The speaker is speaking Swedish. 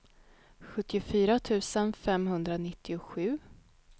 sjuttiofyra tusen femhundranittiosju